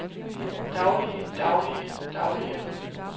daglige daglige daglige